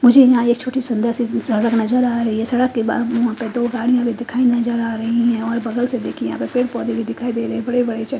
मुझे यहाँ एक छोटी सुंदरसी सड़क नजर आ रही है सड़क के बाद मोटर दो गाड़ी दिखाई नजर आ रही है और बगलसे देखिये यहाँ पेढ पौदे भी दिखाई दे रहे है बड़े बड़े च --